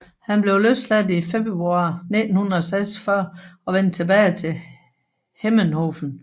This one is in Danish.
Han blev løsladt i februar 1946 og vendte tilbage til Hemmenhofen